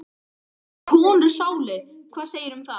Hafa konur sálir, hvað segirðu um það?